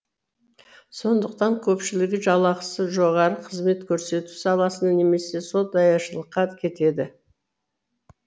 сондықтан көпшілігі жалақысы жоғары қызмет көрсету саласына немесе сол даяшылыққа кетеді